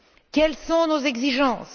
Quelles sont nos exigences?